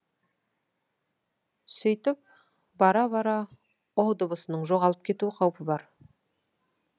сөйтіп бара бара ұ дыбысының жоғалып кету қауіпі бар